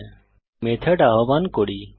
সুতরাং মেথড আহ্বান করি